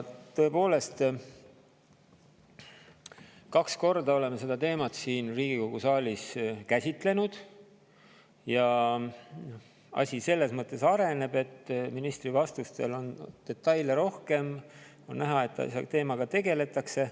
Tõepoolest, kaks korda oleme seda teemat siin Riigikogu saalis käsitlenud ja asi selles mõttes areneb, et ministri vastustes oli detaile rohkem, on näha, et teemaga tegeletakse.